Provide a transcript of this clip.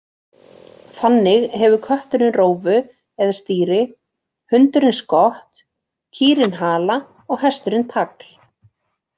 Þannig hefur kötturinn rófu eða stýri, hundurinn skott, kýrin hala og hesturinn tagl.